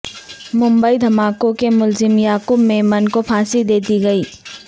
ممبئی دھماکوں کے ملزم یعقوب میمن کو پھانسی دے دی گئی